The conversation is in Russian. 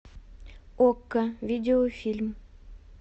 окко видеофильм